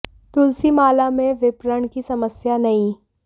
तुलसी माला में विपणन की समस्या नही